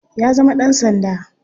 Ya zama dan sanda.